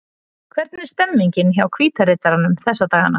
Hvernig er stemningin hjá Hvíta riddaranum þessa dagana?